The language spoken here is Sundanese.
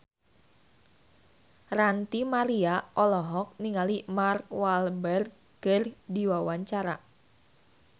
Ranty Maria olohok ningali Mark Walberg keur diwawancara